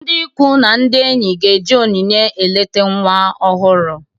Ndị ikwu na ndị enyi ga-eji onyinye eleta nwa ọhụrụ